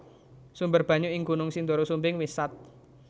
Sumber banyu ing Gunung Sindoro Sumbing wis sat